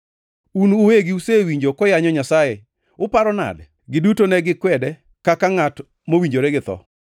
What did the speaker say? Un uwegi usewinjo koyanyo Nyasaye. Uparo nade?” Giduto ne gikwede kaka ngʼat mowinjore githo.